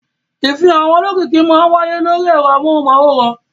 Ìfihàn àwọn olókìkí máa wáyé lórí ẹ̀rọ amóhùmáwòhán.